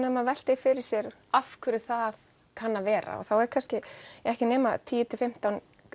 ef maður veltir fyrir sér af hverju það kann að vera þá eru ekki nema tíu til fimmtán